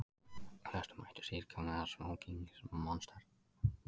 Flestir mættu í síðkjólum eða smóking